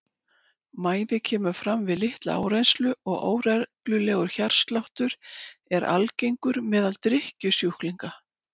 Mæði kemur fram við litla áreynslu og óreglulegur hjartsláttur er algengur meðal drykkjusjúklinga.